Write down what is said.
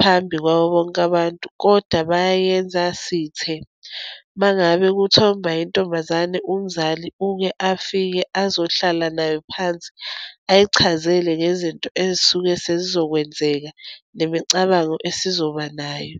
phambi kwabo bonke abantu, kodwa bayayenza sithe. Uma ngabe kuthomba intombazane, umzali uke afike, azohlala nayo phansi, ayichazele ngezinto ezisuke sezizokwenzeka, nemicabango esizoba nayo.